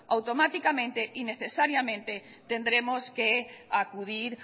automáticamente y necesariamente tendremos que acudir